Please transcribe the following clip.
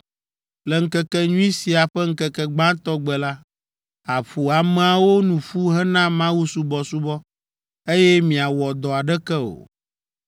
Le ŋkekenyui sia ƒe ŋkeke gbãtɔ gbe la, àƒo ameawo nu ƒu hena mawusubɔsubɔ, eye miawɔ dɔ aɖeke o.